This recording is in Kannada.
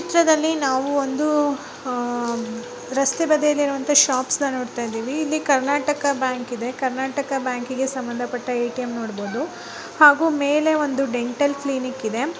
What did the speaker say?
ಈ ಚಿತ್ರದಲ್ಲಿ ನಾವು ಒಂದು ಆ ರಸ್ತೆ ಬದಿಯಲ್ಲಿರುವಂತ ಶಾಪ್ಸ್ನ ನೋಡುತ ಇದಿವಿ ಇಲ್ಲಿ ಕರ್ನಾಟಕ ಬ್ಯಾಂಕ್ ಇದೆ ಕರ್ನಾಟಕ ಬ್ಯಾಂಕಿಗೆ ಸಂಬಂದಪಟ್ಟ ಎ.ಟಿ.ಎಮ್ ನೋಡಬಹುದು ಹಾಗು ಮೇಲೆ ಒಂದು ಡೆಂಟಲ್ ಕ್ಲಿನಿಕ್ ಇದೆ.